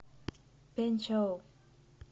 пэнчжоу